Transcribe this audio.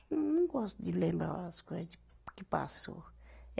Eu não gosto de lembrar as coisa de que passou.